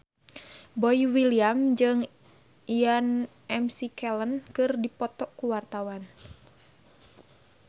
Boy William jeung Ian McKellen keur dipoto ku wartawan